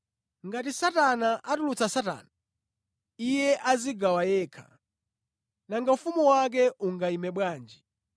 Ngati Satana atulutsa Satana, iye adzigawa yekha. Nanga ufumu wake ungayime bwanji?